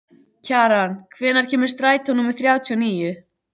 Kjaran, hvenær kemur strætó númer þrjátíu og níu?